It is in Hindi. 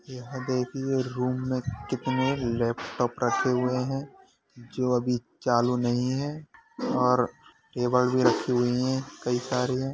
यह देखिये रूम में कितने लैपटॉप रखे खुये हैं जो अभी चालू नहीं हैं और टेबल भी रखी हुई हैं कई सारी है।